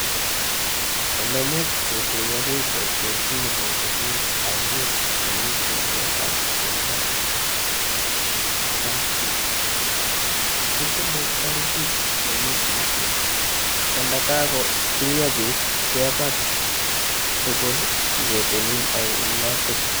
Olemuch kotuyokee kokwet sinyokotilil ainet nemi tiong'ikab tumto ko kapchief, kitile tarikit nekituitos kondakakotuiyo biik kepaa tugul nyoketilil ainotok.